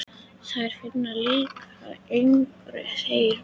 Þær finnast líka yngri, segir hún.